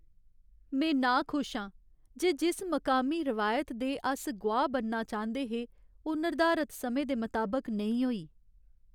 में नाखुश आं जे जिस मकामी रिवायत दे अस गोआह् बनना चांह्दे हे ओह् निर्धारत समें दे मताबक नेईं होई।